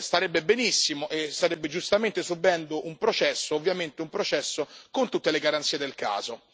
starebbe benissimo e starebbe giustamente subendo un processo, ovviamente un processo con tutte le garanzie del caso.